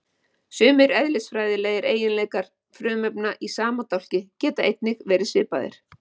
Sumir eðlisfræðilegir eiginleikar frumefna í sama dálki geta einnig verið svipaðir.